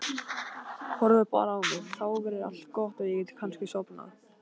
Horfðu bara á mig, þá verður allt gott og ég get kannski sofnað.